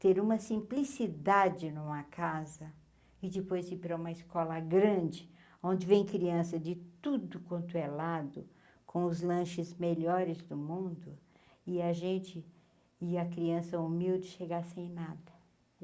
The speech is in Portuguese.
Ter uma simplicidade numa casa, e depois ir para uma escola grande, onde vem criança de tudo quanto é lado, com os lanches melhores do mundo, e a gente, e a criança humilde, chegar sem nada.